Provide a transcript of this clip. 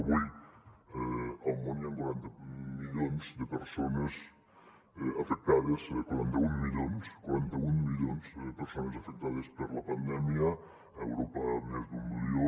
avui al món hi han quaranta milions de persones afectades quaranta un milions quaranta un milions de persones afectades per la pandèmia a europa més d’un milió